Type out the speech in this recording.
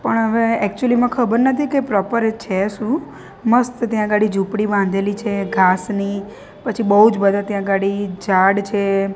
પણ હવે એક્યુઅલી માં ખબર નથી કે પ્રોપર છે સુ મસ્ત ત્યાં ગાડી ઝૂપડી બાંધેલી છે ઘાસ ની પછી બોજ બધા ત્યાં ગાડી ઝાડ છે.